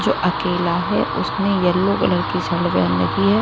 जो अकेला है उसने येलो कलर की शर्ट पहन रखी है।